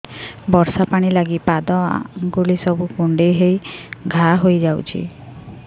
ବର୍ଷା ପାଣି ଲାଗି ପାଦ ଅଙ୍ଗୁଳି ସବୁ କୁଣ୍ଡେଇ ହେଇ ଘା ହୋଇଯାଉଛି